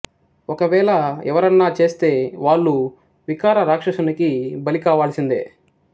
ఒక వేళ ఎవరన్నా చేస్తే వాళ్లు వికార రాక్షసునికి బలికావలసిందే